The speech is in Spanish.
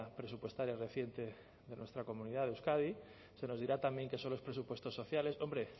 presupuestaria reciente de nuestra comunidad de euskadi se nos dirá también que son los presupuestos sociales hombre